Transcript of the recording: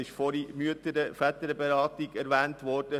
Vorhin ist die Mütter- und Väterberatung erwähnt worden;